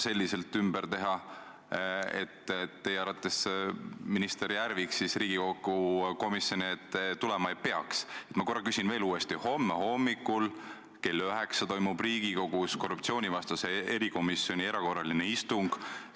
Seetõttu ütlesin ma härra Rõivasele, et nüüd oleks paras aeg testida ja näidata, et prokuratuur on poliitiliselt sõltumatu, juhul kui Kaja Kallasel või Reformierakonnal on olemas reaalsed faktid selle kohta, et Jüri Ratas on nõus Eesti igal hetkel maha müüma ja riiki reetma.